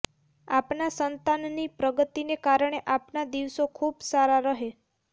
આપના સંતાનની પ્રગતિને કારણે આપના દિવસો ખૂબ સારા રહે